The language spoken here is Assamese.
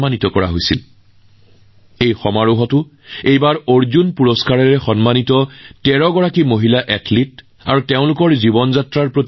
ইয়াতো এটা কথাই বহুতৰে দৃষ্টি আকৰ্ষণ কৰিছিল অৰ্জুন বঁটাপ্ৰাপক কন্যাসকল আৰু তেওঁলোকৰ জীৱন যাত্ৰা